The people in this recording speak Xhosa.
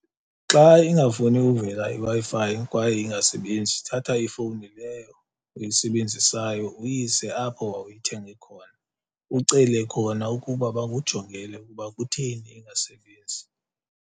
Xa ingafuni uvela iWi-Fi kwaye ingasebenzi thatha ifowuni leyo uyisebenzisayo uyise apho wawuyithenge khona, ucele khona ukuba bakujongele ukuba kutheni ingasebenzi.